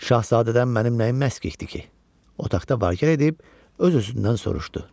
Şahzadədən mənim nəyim məskikdir ki, otaqda vark etdib öz-özündən soruşdu.